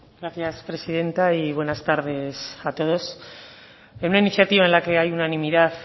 gracias presidenta y buenas tardes a todos en una iniciativa en la que hay unanimidad